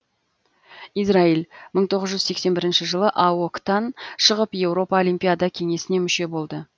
израиль мың тоғыз жүз сексен бірінші жылы аок тан шығып еуропа олимпиада кеңесіне мүше болды